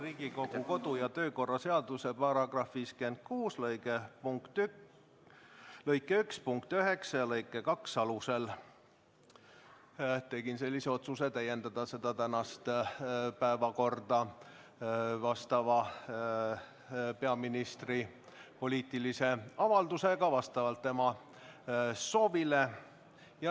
Riigikogu kodu- ja töökorra seaduse § 56 lõike 1 punkti 9 ja lõike 2 alusel tegin sellise otsuse: täiendada tänast päevakorda peaministri poliitilise avaldusega vastavalt tema soovile.